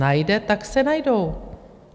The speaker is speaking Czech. Najde, tak se najdou.